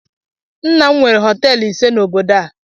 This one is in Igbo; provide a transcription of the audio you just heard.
Nna m nwere họteelụ ise na obodo a